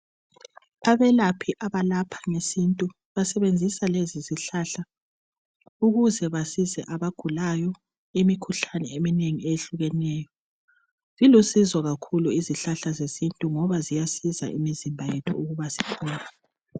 Abelaphi abalapha ngesintu basebenzisa lezizihlahla ukuze basize abagulayo imikhuhlane eminengi eyehlukeneyo. Zilusizo kakhulu izihlahla zesintu ngoba ziyasiza imizimba yethu ukuba siphole